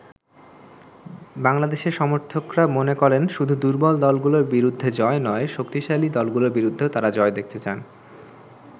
বাংলাদেশের সমর্থকরা মনে করেন, শুধু দুর্বল দলগুলোর বিরুদ্ধে জয় নয়, শক্তিশালী দলগুলোর বিরুদ্ধেও তারা জয় দেখতে চান।